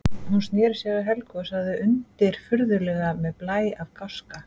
Hún sneri sér að Helgu og sagði undirfurðulega með blæ af gáska